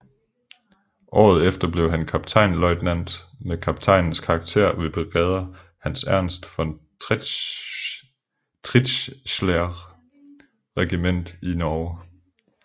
Året efter blev han kaptajnløjtnant med kaptajns karakter ved brigader Hans Ernst von Tritzschler regiment i Norge